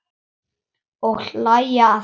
Og hlæja að þér.